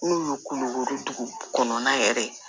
N'u ye kulokoro dugu kɔnɔna yɛrɛ